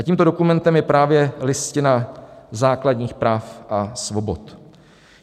A tímto dokumentem je právě Listina základních práv a svobod.